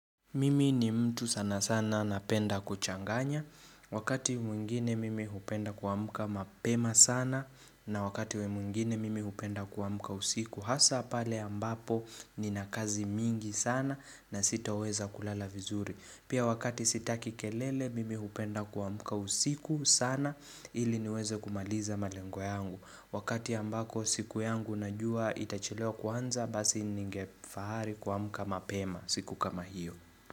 Mimi ni mtu sana sana napenda kuchanganya, wakati mwingine mimi hupenda kuamka mapema sana na wakati mwingine mimi hupenda kuamka usiku hasa pale ambapo nina kazi mingi sana na sitoweza kulala vizuri. Pia wakati sitaki kelele mimi hupenda kuamka usiku sana ili niweze kumaliza malengo yangu. Wakati ambako siku yangu najua itachelewa kuanza basi ningefahari kuamka mapema siku kama hiyo.